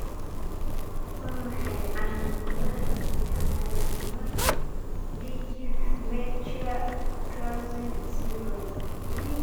Waa maxay calaamadaha iyo calaamadaha Dyggve Melchior Clausen syndrome?